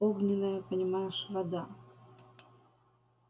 огненная понимаешь вода